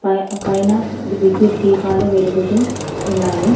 పై పైన ఇది విద్యుత్ దీపాలు వెలుగుతూ ఉన్నాయి.